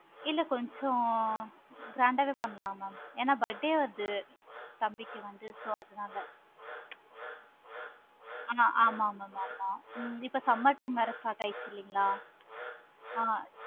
இல்ல கொஞ்சம் grand ஆஹ் வே பண்ணலாம் mam ஏனா birthday வருது. தம்பிக்கு வந்து so அதுனால நல்ல bulk ஆஹ் எடுக்கலாம் பார்க்கிங்களா? ஆமா mam ஆமா இப்ப summer time வேற start ஆகிடுச்சு இல்லையா? actually ஆஹ்